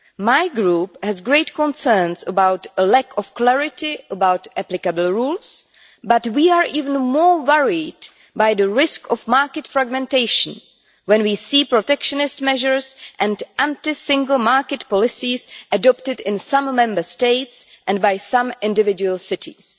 My Group has great concerns about the lack of clarity about applicable rules, but we are even more worried by the risk of market fragmentation when we see protectionist measures and anti single market policies adopted in some Member States and by some individual cities.